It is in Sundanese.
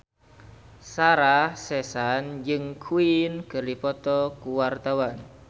Sarah Sechan jeung Queen keur dipoto ku wartawan